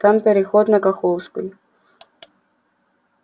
там переход на каховскую